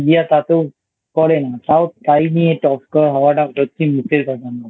India তাতেও করে না তাও তাই নিয়ে Top হওয়াটা সত্যিই মুখের কথা না